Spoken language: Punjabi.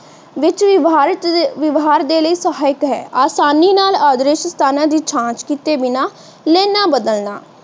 ਵਿਚ ਵਿਵਹਾਰ ਦੇ ਲਈ ਸਹਾਇਤ ਹੈ। ਆਸਾਨੀ ਨਾਲ ਆਦ੍ਰਿਸ਼ ਸਥਾਨਾਂ ਦੀ ਜਾਂਚ ਕੀਤੇ ਬਿਨਾ ਲਾਈਨਾਂ ਬਦਲਣਾ